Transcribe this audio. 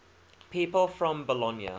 people from bologna